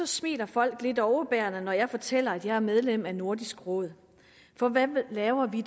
smiler folk lidt overbærende når jeg fortæller at jeg er medlem af nordisk råd for hvad laver vi